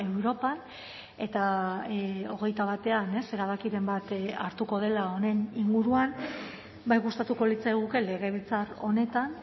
europan eta hogeita batean erabakiren bat hartuko dela honen inguruan bai gustatuko litzaiguke legebiltzar honetan